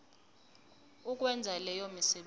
ukwenza leyo misebenzi